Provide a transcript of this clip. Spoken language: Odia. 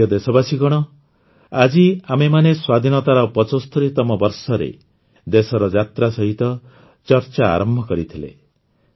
ମୋର ପ୍ରିୟ ଦେଶବାସୀଗଣ ଆଜି ଆମେମାନେ ସ୍ୱାଧୀନତାର ୭୫ତମ ବର୍ଷରେ ଦେଶର ଯାତ୍ରା ସହିତ ଚର୍ଚ୍ଚା ଆରମ୍ଭ କରିଥିଲେ